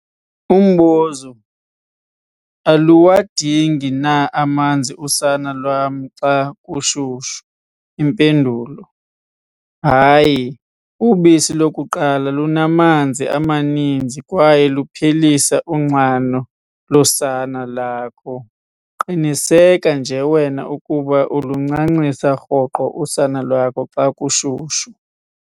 Umbuzo- Aluwadingi na amanzi usana lwam xa kushushu? Impendulo- Hayi, ubisi lokuqala lunamanzi amaninzi kwaye luphelisa unxano losana lakho. Qiniseka nje wena ukuba ulincancisa rhoqo usana lwakho xa kushushu.